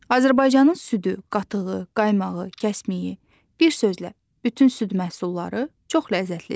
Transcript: Azərbaycanın südü, qatığı, qaymağı, kəsmiyi, bir sözlə bütün süd məhsulları çox ləzzətlidir.